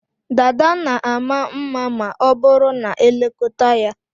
Dada na ama mma ma ọ bụrụ na e lekọta ya.